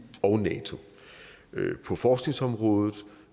og nato på forskningsområdet